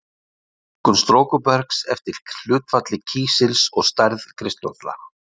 Flokkun storkubergs eftir hlutfalli kísils og stærð kristalla.